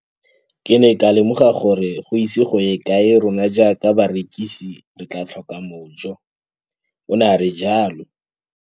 Ke ne ka lemoga gore go ise go ye kae rona jaaka barekise re tla tlhoka mojo, o ne a re jalo.